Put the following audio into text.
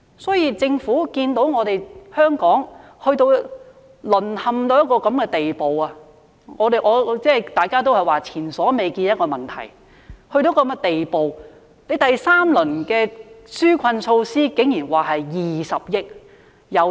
所以，政府看到香港淪陷至現時這個地步，大家也說這個問題是前所未見的，到了這個地步，政府的第三輪紓困措施竟然只提供20億元。